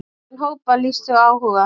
Átján hópar lýstu áhuga.